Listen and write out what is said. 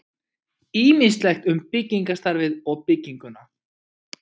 Ýmislegt um byggingarstarfið og bygginguna.